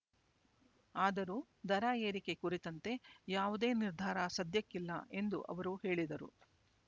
ಆದರೂ ದರ ಏರಿಕೆ ಕುರಿತಂತೆ ಯಾವುದೇ ನಿರ್ಧಾರ ಸದ್ಯಕ್ಕಿಲ್ಲ ಎಂದು ಅವರು ಹೇಳಿದರು